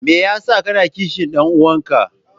Me yasa kake kishin dan uwanka?